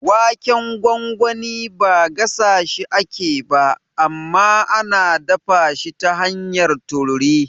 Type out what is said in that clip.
Waken gwangwani ba gasashi ake ba, amma ana dafa shi ta hanyar tururi.